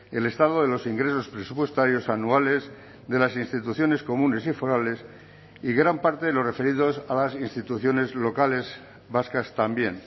el estado de los ingresos presupuestarios anuales de las instituciones comunes y forales y gran parte de los referidos a las instituciones locales vascas también